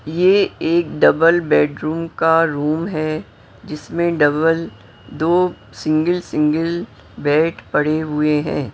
ये एक double bedroom का रूम है जिसमें डबल दो सिंगल सिंगल बेड पड़े हुए हैं।